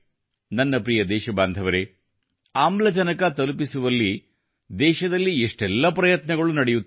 ನನ್ನ ಪ್ರಿಯ ದೇಶಬಾಂಧವರೆ ಆಮ್ಲಜನಕ ತಲುಪಿಸುವಲ್ಲಿ ದೇಶದಲ್ಲಿ ಎಷ್ಟೆಲ್ಲ ಪ್ರಯತ್ನಗಳು ನಡೆಯುತ್ತಿವೆ